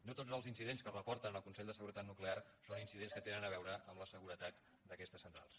no tots els incidents que reporten al consell de seguretat nuclear són incidents que tinguin a veure amb la seguretat d’aquestes centrals